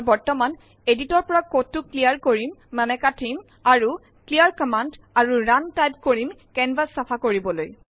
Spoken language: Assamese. মই বৰ্তমান এডিটৰৰ পৰা কোডটো ক্লিয়াৰ কৰিম মানে কাটিম আৰু ক্লিয়াৰ কম্মান্দ আৰু ৰুণ টাইপ কৰিম কেনভাচ চাফা কৰিবলৈ